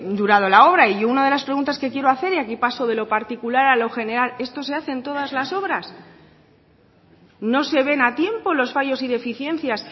durado la obra y una de las preguntas que quiero hacer y aquí paso de lo particular a lo general esto se hace en todas las obras no se ven a tiempo los fallos y deficiencias